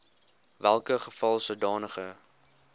welke geval sodanige